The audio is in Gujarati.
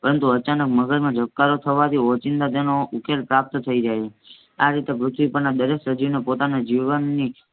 પરંતુ અચાનક મગજ માં ધબકારો થવાથી ઓચિંતા તેનો ઉકેલ પ્રાપ્ત થઈ જાય છે. આ રીતે પૃથ્વી પર ના દરેક સજીવે પોતાના જીવનની